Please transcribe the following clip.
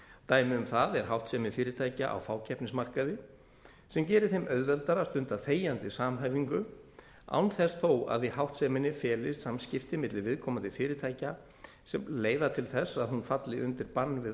dæmi um það er háttsemi fyrirtækja á fákeppnismarkaði sem gerir þeim auðveldara að stunda þegjandi samhæfingu án þess þó að í háttseminni felist samskipti milli viðkomandi fyrirtækja sem leiða til þess að hún falli undir bann við